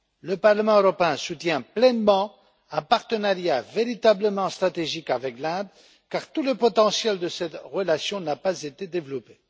Le Parlement européen soutient pleinement un partenariat véritablement stratégique avec l'Inde, car tout le potentiel de cette relation n'a pas été développé.